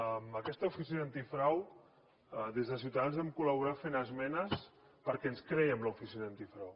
amb aquesta oficina d’antifrau des de ciutadans vam col·laborar hi fent esmenes perquè ens crèiem l’oficina antifrau